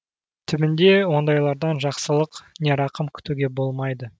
түбінде ондайлардан жақсылық не рақым күтуге болмайды